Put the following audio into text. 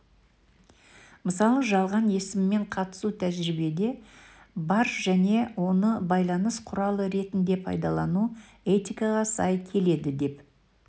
мысалы жалған есіммен қатысу тәжірибеде бар және оны байланыс құралы ретінде пайдалану этикаға сай келеді деп